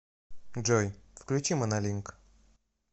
джой включи монолинк